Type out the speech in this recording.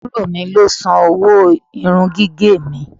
Àbúrò mi ló san owó irun gígẹ̀ mi.